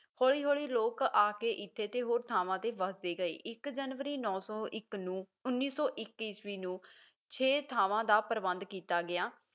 ਹੌਲੀ ਹੌਲੀ ਲੋਕ ਆਕੇ ਤੇ ਇੱਥੇ ਤੇ ਹੋਰ ਥਾਵਾਂ ਤੇ ਵਸਦੇ ਗਏ, ਇੱਕ ਜਨਵਰੀ ਨੌ ਸੌ ਇੱਕ ਨੂੰ ਉੱਨੀ ਸੌ ਇੱਕ ਈਸਵੀ ਨੂੰ ਛੇ ਥਾਵਾਂ ਦਾ ਪ੍ਰਬੰਧ ਕੀਤਾ ਗਿਆ